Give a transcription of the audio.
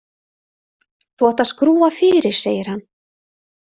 Þú átt að skrúfa fyrir, segir hann.